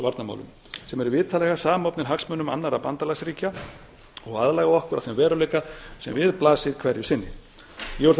varnarmálum sem er vitanlega samofnir hagsmunum annarra bandalagsríkja og aðlaga okkur að þeim veruleika sem við blasir hverju sinni ég vil þó